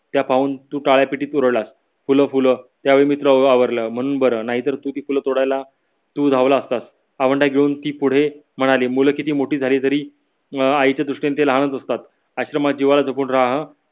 त्यापाहून तू फूल फूल त्यावेळी मी तुला आवरल म्हणून बर नाही तर तू ती फूल तोडायला तू धावला असतास आवंडा घेऊन ती पुढे म्हणाली मुले कीती मोठी झाली तरी अं आईच्या दृष्टीने ती लहान च असतात. आश्रमात जिव्हाळा जपून राह हा